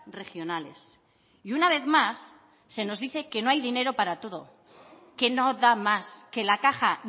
regionales y una vez más se nos dice que no hay dinero para todos que no da más que la caja